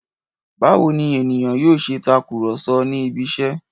Báwo ni ènìyàn yóò ṣe takùrọ̀so ní ibiṣẹ́?